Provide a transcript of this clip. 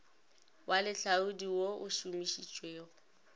wa lehlaodi wo o šomišitšwego